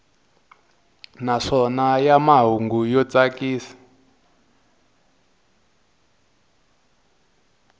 naswona ya mahungu yo tsakisa